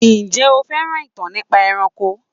Ǹjé o fẹ́ràn ìtàn nípa ẹranko?